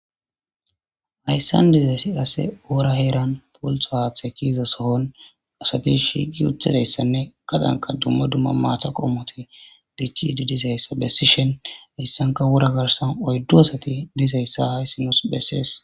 Ayssan dizesi qase oora heeran pult paathe kiiza sohon asati shiiqi uthidayssanne qadanka dumma dumma maatha qommoti dichidi disayssa bessi shen hissanka wura garsan oyddu asati disayssa hayssinos bessees.